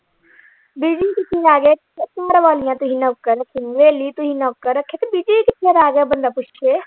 Busy ਕਿਥੇ ਰਹਿ ਗਏ ਤੁਸੀਂ ਨੌਕਰ ਰੱਖੇ ਹਵੇਲੀ ਤੁਸੀਂ ਨੌਕਰ ਰੱਖੇ ਤੇ busy ਕਿਥੇ ਰਹਿ ਗਏ ਤੁਸੀਂ ਬੰਦਾ ਪੁੱਛੇ।